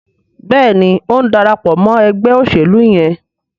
Béèni o ń darapọ̀ mọ ègbé òṣèlú yén.